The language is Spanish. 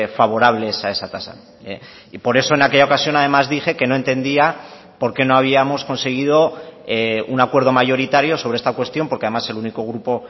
favorables a esa tasa y por eso en aquella ocasión además dije que no entendía por qué no habíamos conseguido un acuerdo mayoritario sobre esta cuestión porque además el único grupo